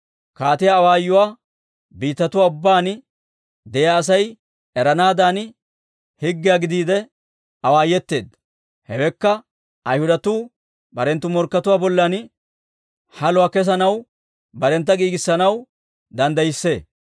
Kaatiyaa awaayuwaa biittatuwaa ubbaan de'iyaa Asay eranaadan, higgiyaa gidiide awaayeteedda; hewekka Ayhudatuu barenttu morkkatuwaa bollan haluwaa kesanaw barentta giigissanaw danddayissee.